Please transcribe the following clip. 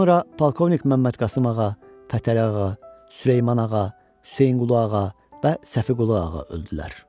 Sonra Polkovnik Məmmədqasım Ağa, Pətəli Ağa, Süleyman Ağa, Hüseyinqulu Ağa və Səfiqulu Ağa öldülər.